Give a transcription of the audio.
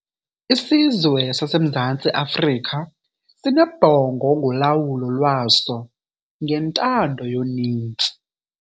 Isizwe saseMzantsi Afrika sinebhongo ngolawulo lwaso ngentando yoninzi.